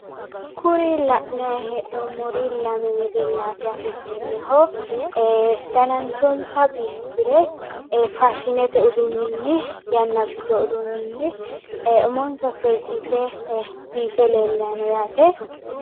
Kuri la'nay hee'noommori wedellaati yaate seenneho ee dananchonsa biifisire ee faashinete uduunnini yanna abbitino uduunnini umonsa seesiise biife leellanni no yaate.